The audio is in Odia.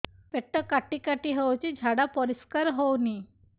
ପେଟ କାଟି କାଟି ହଉଚି ଝାଡା ପରିସ୍କାର ହଉନି